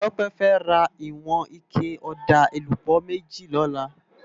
Tope fè rá iwòn iké òdá élúbò méjí lòlá